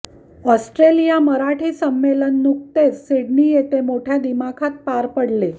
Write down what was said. Australia Marathi संमेलन नुकतेच Sydney येथे मोठ्या दिमाखात पार पडले